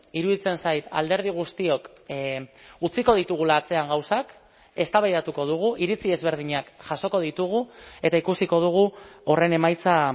iruditzen zait alderdi guztiok utziko ditugula atzean gauzak eztabaidatuko dugu iritzi ezberdinak jasoko ditugu eta ikusiko dugu horren emaitza